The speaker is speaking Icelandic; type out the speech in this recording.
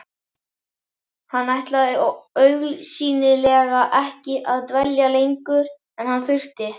Hann ætlaði augsýnilega ekki að dvelja lengur en hann þurfti.